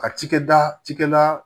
Ka cikɛda ci kɛ da